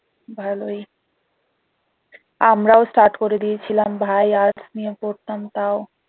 ভালোই আমরাও start করে দিয়েছিলাম ভাই arts নিয়ে পড়তাম তাও